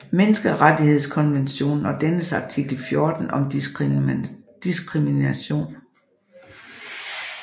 Menneskerettighedskonventionen og dennes artikel 14 om diskrimination